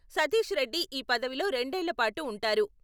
సతీష్ రెడ్డి ఈ పదవిలో రెండేళ్లపాటు ఉంటారు.